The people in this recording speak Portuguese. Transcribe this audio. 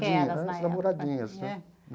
né, as namoradinhas né.